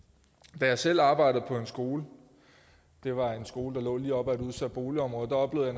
da jeg selv arbejdede på en skole det var en skole der lå lige op ad et udsat boligområde oplevede